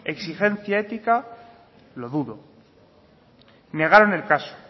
exigencia ética lo dudo negaron el caso